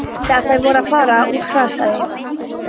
Þegar þær voru að fara út hrasaði